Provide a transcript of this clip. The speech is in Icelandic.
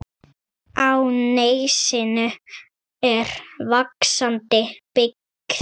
Á nesinu er vaxandi byggð.